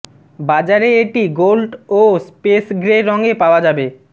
বাজারে এটি গোল্ড ও স্পেস গ্রে রঙে পাওয়া যাবে